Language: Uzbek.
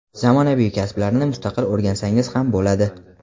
zamonaviy kasblarni mustaqil o‘rgansangiz ham bo‘ladi.